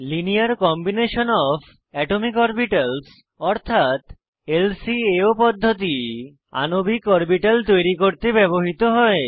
linear combination of atomic orbitals অর্থাৎ পদ্ধতি আণবিক অরবিটাল তৈরি করতে ব্যবহৃত হয়